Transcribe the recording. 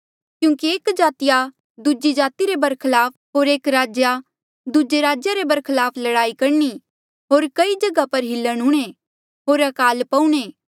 क्यूंकि एक जातिया दूजी जाति रे बरखलाफ होर एक राज्या दूजे राज्या रे बरखलाफ लड़ाई करणी होर कई जगहा पर हिलण हूंणे होर अकाल पौऊणे